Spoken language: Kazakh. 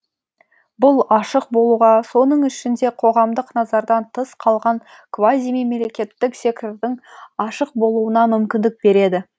бұл ашық болуға соның ішінде қоғамдық назардан тыс қалған квазимемлекеттік сектордың ашық болуына мүмкіндік береді